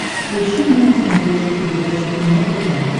включи мне на смотрешке передачу кино тв